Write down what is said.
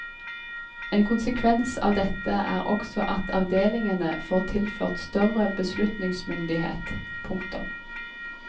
En konsekvens av dette er også at avdelingene får tilført større beslutningsmyndighet. punktum